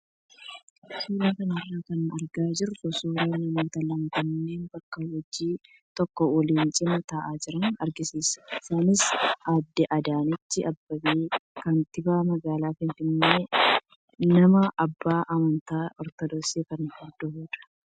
Suuraa kanarraa kan argaa jirru suuraa namoota lama kanneen bakka hojii tokko waliin wal cinaa taa'aa jiran agarsiisa. Isaanis aaddee Adaanech Abeebee kantiibaa magaalaa Finfinnee fi nama abbaa amantaa ortodoksii kan hordofudha.